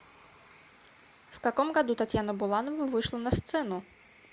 в каком году татьяна буланова вышла на сцену